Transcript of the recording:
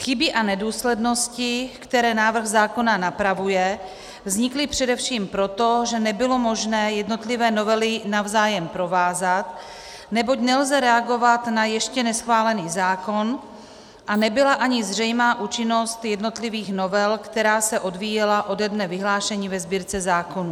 Chyby a nedůslednosti, které návrh zákona napravuje, vznikly především proto, že nebylo možné jednotlivé novely navzájem provázat, neboť nelze reagovat na ještě neschválený zákon, a nebyla ani zřejmá účinnost jednotlivých novel, která se odvíjela ode dne vyhlášení ve sbírce zákonů.